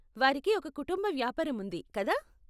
వారికి ఒక కుటుంబ వ్యాపారం ఉంది, కదా?